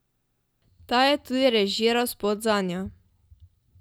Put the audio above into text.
Ta je tudi režiral spot zanjo.